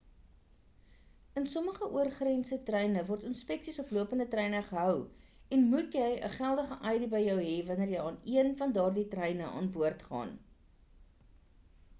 in sommige oorgrense treine word inspeksies op lopende treine gehou en jy moet 'n geldige id by jou hê wanneer jy aan een van daardie treine aan boord gaan